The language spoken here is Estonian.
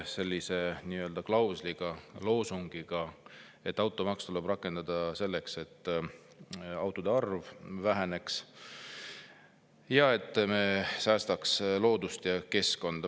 Oli selline loosung, et automaksu tuleb rakendada selleks, et autode arv väheneks ja et me säästaks loodust ja keskkonda.